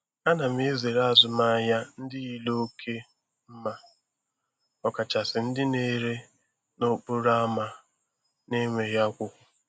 A na m ezere azụmahịa ndị yiri oke mma, ọkachasị ndị na-ere n'okporo ámá na-enweghị akwụkwọ.